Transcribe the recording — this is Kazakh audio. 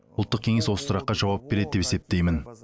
ұлттық кеңес осы сұраққа жауап береді деп есептеймін